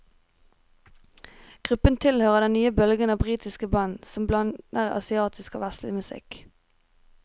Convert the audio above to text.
Gruppen tilhører den nye bølgen av britiske band som blander asiatisk og vestlig musikk.